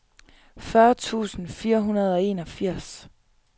fyrre tusind fire hundrede og enogfirs